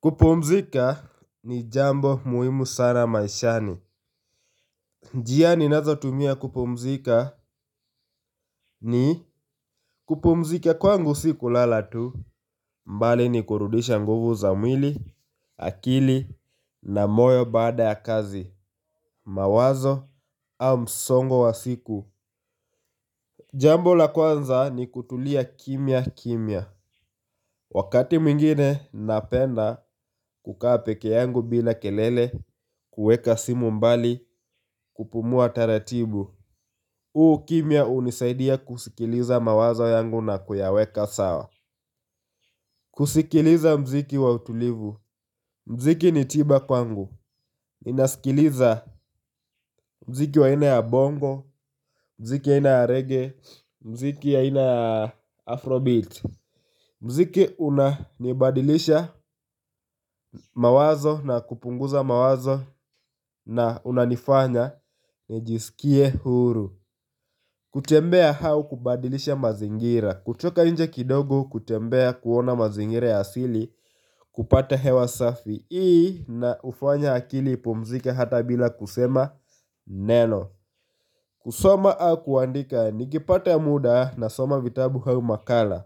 Kupumzika ni jambo muhimu sana maishani. Njia ninazotumia kupumzika ni kupumzika kwangu si kulala tu bali ni kurudisha nguvu za mwili, akili na moyo baada ya kazi, mawazo au msongo wa siku. Jambo la kwanza ni kutulia kimya kimya. Wakati mwingine napenda kukaa peke yangu bila kelele, kuweka simu mbali, kupumua taratibu. Huu kimya hunisaidia kusikiliza mawazo yangu na kuyaweka sawa. Kusikiliza muziki wa utulivu. Muziki ni tiba kwangu. Ninasikiliza muziki wa aina ya bongo, muziki aina ya reggae, muziki aina ya afrobeat. Muziki unanibadilisha mawazo na kupunguza mawazo na unanifanya nijisikie huru. Kutembea au kubadilisha mazingira. Kutoka nje kidogo kutembea kuona mazingira ya asili kupata hewa safi inaufanya akili ipumzike hata bila kusema neno. Kusoma au kuandika. Nikipata muda nasoma vitabu au makala.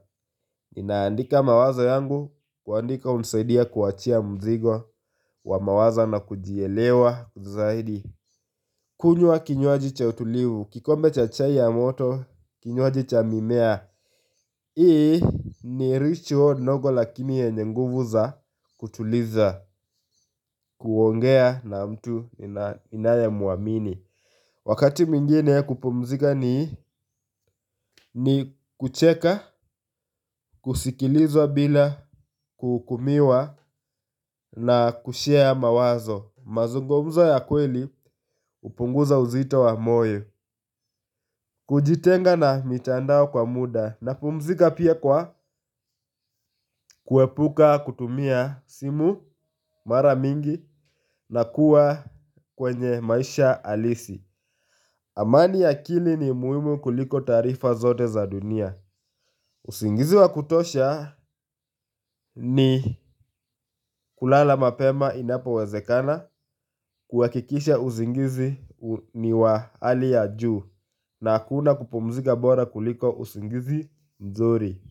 Ninaandika mawazo yangu, kuandika hunisaidia kuachia mzigo wa mawazo na kujielewa zaidi. Kunywa kinywaji cha utulivu, kikombe cha chai ya moto, kinywaji cha mimea. Hii ni ritual ndogo lakini yenye nguvu za kutuliza, kuongea na mtu ninayemuamini. Wakati mwingine kupumzika ni kucheka, kusikiliza bila, kuhukumiwa na kushare mawazo. Mazungumzo ya kweli hupunguza uzito wa moyo. Kujitenga na mitandao kwa muda napumzika pia kwa kuepuka kutumia simu mara mingi na kuwa kwenye maisha halisi. Amani ya akili ni muhimu kuliko taarifa zote za dunia. Usingizi wa kutosha ni kulala mapema inapowezekana kuhakikisha usingizi ni wa hali ya juu na hakuna kupumzika bora kuliko usingizi mzuri.